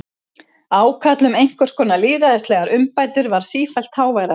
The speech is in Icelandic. Ákall um einhvers konar lýðræðislegar umbætur varð sífellt háværara.